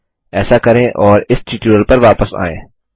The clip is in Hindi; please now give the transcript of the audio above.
ऐसा करें और इस ट्यूटोरियल पर वापस आएँ